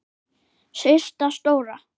Systa stóra!